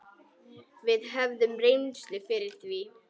Við höfum reynslu fyrir því.